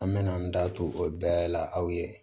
An mɛna an da to o bɛɛ la aw ye